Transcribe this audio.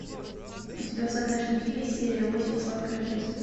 у тебя в загашнике есть серия восемь сладкая жизнь